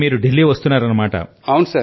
అంటే మీరు దిల్లీ కి వస్తున్నారన్నమాట